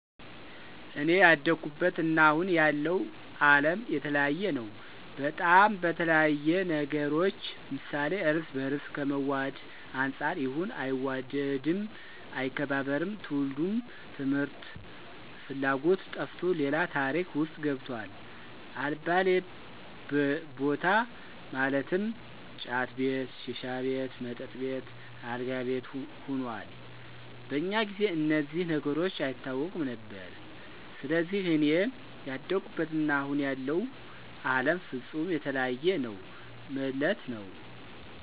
አኔ ያደኩበት እና አሁን ያለው አለም የተለያየ ነው በጣም፣ በተለያየ ነገሮች ምሳሌ እርስ በርስ ከመዋድ አንፃር ያሁኑ አይዋደድም፣ አይከባበርም፣ ትውልዱም ትምህርት ፍላጎቱ ጠፍቶ ሌላ ታሪክ ውስጥ ገብቷል አልባሌ በታ ማለትም ጫት ቤት፣ ሺሻ ቤት፣ መጠጥ ቤት፣ አልጋ ቤት ሁኗል። በኛ ጊዜ እነዚህ ነገሮች አይታወቁም ነበር። ሰለዚህ እኔ ያደኩበት እና አሁን ያለው አለም ፍፁም የተለያየ ነው መለት ነዉ።